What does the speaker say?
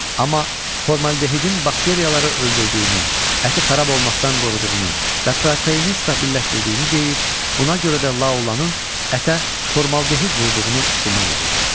Amma formaldehidin bakteriyaları öldürdüyünü, əti xarab olmaqdan qoruduğunu və proteini stabilləşdirdiyini deyir, buna görə də Laolanın ətə formaldehid vurduğunu güman edirdi.